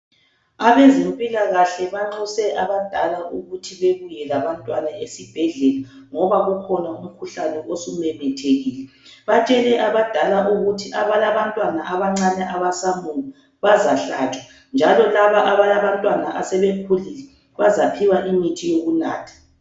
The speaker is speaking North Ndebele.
Abezempilakahle banxuse abadala ukuthi bebuye labantwana esibhedlela ngoba kukhona umkhuhlane osumemethekile. Batshele abadala ukuthi abalabantwana abancane abasamunya bazahlatshwa njalo laba abalabantwana asebekhulile bazaphiwa imithi yokunatha.